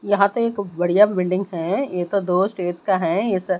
यहां तो एक बढ़िया बिल्डिंग है ये तो दो स्टेज का है इस--